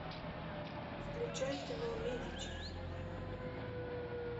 включай кино медичи